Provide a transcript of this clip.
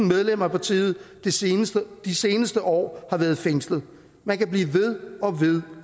medlemmer af partiet de seneste de seneste år har været fængslet man kan blive ved og ved